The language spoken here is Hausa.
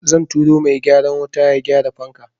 Zan turo mai gyaran wuta ya gyara fanka.